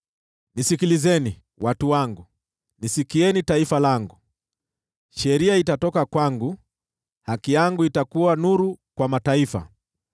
“Nisikilizeni, watu wangu; nisikieni, taifa langu: Sheria itatoka kwangu; haki yangu itakuwa nuru kwa mataifa.